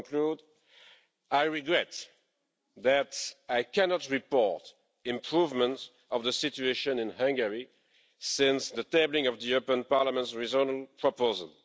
To conclude, I regret that I cannot report improvements of the situation in Hungary since the tabling of the European Parliament's original proposal.